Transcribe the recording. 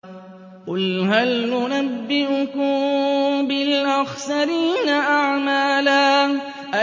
قُلْ هَلْ نُنَبِّئُكُم بِالْأَخْسَرِينَ أَعْمَالًا